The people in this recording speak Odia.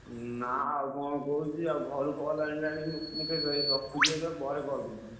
ନା ଆଉ କଣ କହୁଛି ଆଉ ଘରୁ call ଆଇଲାଣି ମୁ ମୁକେଶ ଭାଇ ରଖୁଛି ଏବେ ପରେ call କରୁଛି।